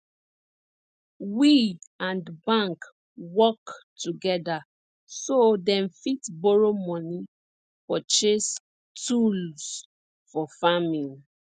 we and bank work together so dem fit borrow money purchase tools for farming